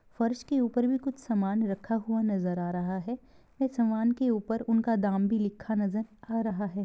फ़र्श के ऊपर में कुछ समान रखा हुआ नजर आ रहा है ये समान के ऊपर उन का दाम भी लिखा नजर आ रहा है।